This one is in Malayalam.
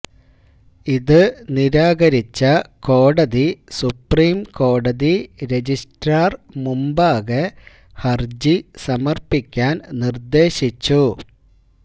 ഇത് നിരാകരിച്ച കോടതി സുപ്രീംകോടതി രജിസ്ട്രാര് മുമ്പാകെ ഹരജി സമര്പ്പിക്കാന് നിര്ദേശിച്ചു